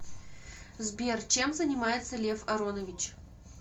сбер чем занимается лев аронович